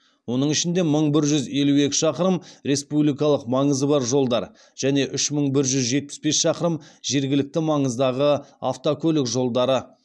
оның ішінде мың бір жүз елу екі шақырым республикалық маңызы бар жолдар және үш мың жүз жетпіс бес шақырым жергілікті маңыздағы автокөлік жолдары